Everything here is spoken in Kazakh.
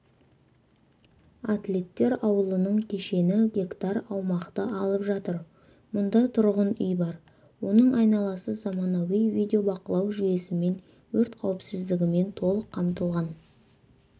атлеттер ауылының кешені гектар аумақты алып жатыр мұнда тұрғын үй бар оның айналасы заманауи видеобақылау жүйесімен өрт қауіпсіздігімен толық қамтылған